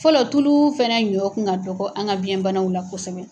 Fɔlɔ tulu fɛnɛ ɲɔ ka dɔgɔ an ka biyɛnbanaw la kosɛbɛ.